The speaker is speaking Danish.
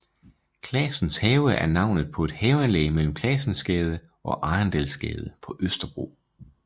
Classens Have er navnet på et haveanlæg mellem Classensgade og Arendalsgade på Østerbro